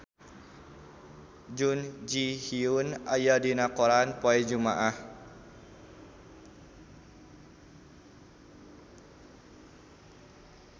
Jun Ji Hyun aya dina koran poe Jumaah